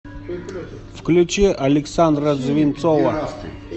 включи александра звинцова